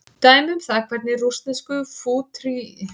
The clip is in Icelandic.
Dæmi um það hvernig rússnesku fútúristarnir myndskreyttu með orðum.